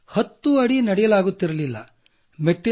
ನಾನು 10 ಅಡಿ ನಡೆಯಲಾಗುತ್ತಿರಲಿಲ್ಲ